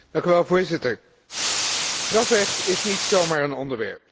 Voorzitter, strafrecht is niet zomaar een onderwerp.